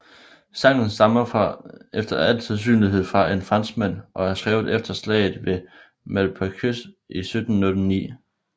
Sangen stammer efter al sandsynlighed fra en franskmand og er skrevet efter slaget ved Malplaquet i 1709